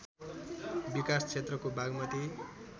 विकास क्षेत्रको बागमती